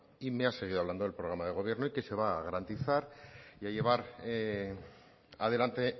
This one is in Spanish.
y me ha seguido hablando del programa de gobierno y que se va a garantizar y a llevar adelante